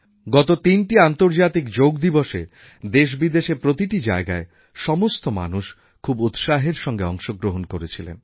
গত তিনটি আন্তর্জাতিক যোগা দিবসএ দেশবিদেশের প্রতিটি জায়গায় সমস্ত মানুষ খুব উৎসাহের সঙ্গে অংশগ্রহণ করেছিলেন